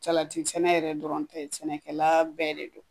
Salati sɛnɛ yɛrɛ dɔrɔn tɛ, sɛnɛkɛlaa bɛɛ de don.